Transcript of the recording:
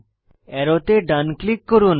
অ্যারোতে ডান ক্লিক করুন